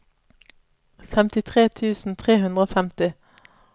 femtitre tusen tre hundre og femti